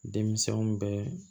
Denmisɛnw bɛɛ